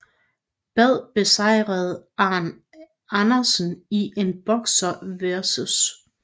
Badd besejrede Arn Anderson i en Boxer vs